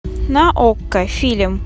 на окко фильм